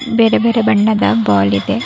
ಬೇರೆ ಬೇರೆ ಬಣ್ಣದ ಬಾಲ್ ಇದೆ.